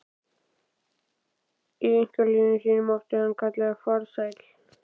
Í einkalífi sínu mátti hann kallast farsæll.